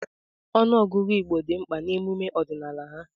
Ọnụọgụ Igbo dị mkpa n'emume ọdịnala ha.